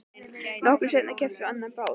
Nokkru seinna keyptum við annan bát.